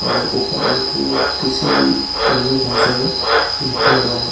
और ऊपर एक किसी अन्य भाषा में लिखा हुआ है उ